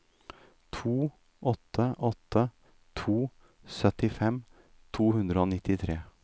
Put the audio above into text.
to åtte åtte to syttifem to hundre og nittitre